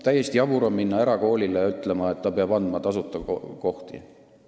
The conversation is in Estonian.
Täiesti jabur on minna erakoolile ütlema, et tal peavad olema tasuta kohad.